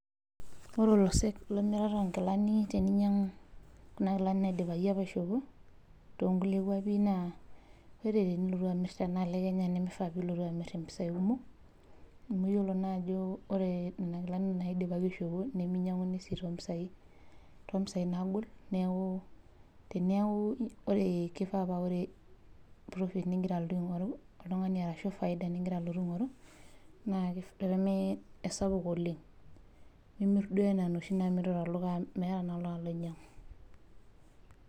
Ore olosek le miarata oo nkilani teninyang'u kuna kilani naidipaki apa aishopo too nkulie kuapi naa ore tenilotu amir tena alo e Kenya nemifaa piilotu amir impisai kumok amu iyiolo naa ajo ore nena kilani naidipaki aishopo neminyang'uni sii too mpisai too mpisai naagol. Neeku teneeku ore kifaa paa ore profit ning'ira aaltu aing'oru oltung'ani arashu faida ning'ira alotu aing'oru naa ki pee mee esapuk oleng', nimir duo naa enoshi naamiri tolchamba amu meeta naa oltung'ani loinyang'u.